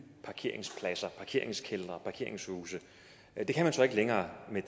parkeringspladser parkeringskældre parkeringshuse men det kan man så ikke længere med